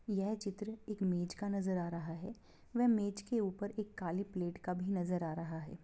यह चित्र एक मेज का नजर आ रहा व मेज की ऊपर एक काली प्लेट का भी नजर आ रहा है।